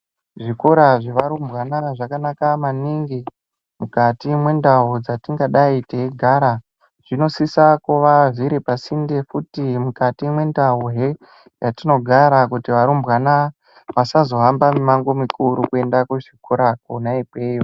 Zvikora zvevarumbwana zvakanaka maningi mukati mendau dzatingadayi tiyigara. Zvinosisa kuva zviripasinfe yekuti mukati mendawo ye yatinogara kuti varumbwana vasazohamba mimango mikuru kuyenda kuzvikora kona ikweno.